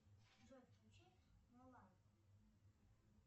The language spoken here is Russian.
джой включи мулан